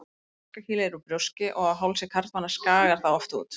Barkakýlið er úr brjóski og á hálsi karlmanna skagar það oft út.